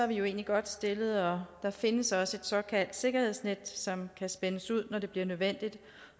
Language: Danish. vi jo egentlig godt stillet og der findes også et såkaldt sikkerhedsnet som kan spændes ud når det bliver nødvendigt